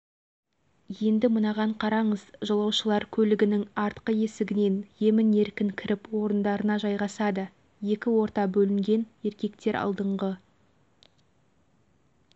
ханымдар сырт көзге қарағанда шектеулі өмір кешіп жатқан сияқты көрінгенімен оларға деген құрмет аз емес екенін екінің бірі байқай